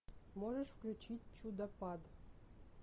можешь включить чудопад